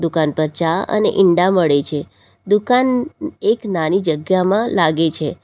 કાન પર ચા અને ઈંડા મળે છે દુકાન એક નાની જગ્યામાં લાગે છે.